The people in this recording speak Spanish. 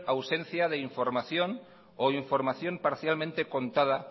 ausencia de información o información parcialmente contada